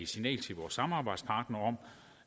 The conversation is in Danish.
signal til vores samarbejdspartnere om